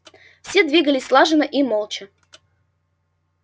все двигались слаженно и молча